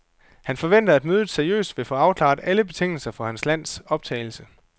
Han forventer, at mødet seriøst vil få afklaret alle betingelserne for hans lands optagelse.